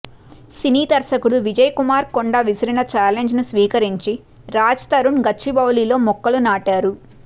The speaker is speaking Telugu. సినీ దర్శకుడు విజయ్ కుమార్ కొండ విసిరిన చాలెంజ్ను స్వీకరించి రాజ్తరుణ్ గచ్చిబౌలిలో మొక్కలు నాటారు